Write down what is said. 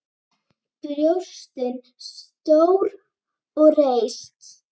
Brjóstin stór og reist.